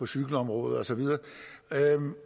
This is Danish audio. cykelområdet